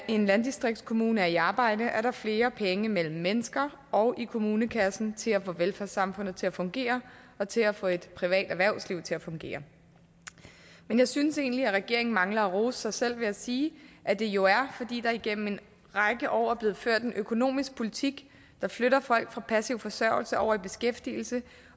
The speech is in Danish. en landdistriktskommune er i arbejde er der flere penge mellem mennesker og i kommunekassen til at få velfærdssamfundet til at fungere og til at få et privat erhvervsliv til at fungere men jeg synes egentlig at regeringen mangler at rose sig selv ved at sige at det jo er fordi der igennem en række år er blevet ført en økonomisk politik der flytter folk fra passiv forsørgelse over i beskæftigelse